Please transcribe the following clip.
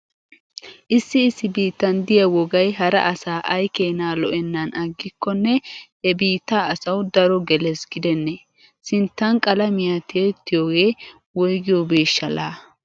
Issi issi biittan diya wogay hara asaa ay keenaa lo'ennan aggikkonne he biittaa asawu daro gelees gidennee? Sinttan qalamiya tiyettiyohee woygiyoobeeshsha laa?